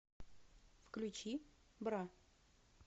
включи бра